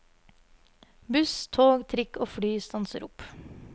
Buss, tog, trikk og fly stanser opp.